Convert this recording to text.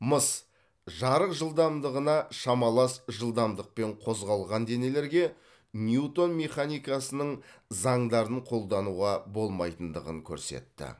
мыс жарық жылдамдығына шамалас жылдамдықпен қозғалған денелерге ньютон механикасының заңдарын қолдануға болмайтындығын көрсетті